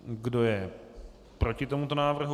Kdo je proti tomuto návrhu?